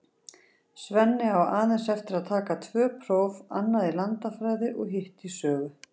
Svenni á aðeins eftir að taka tvö próf, annað í landafræði og hitt í sögu.